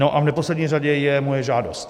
No a v neposlední řadě je moje žádost.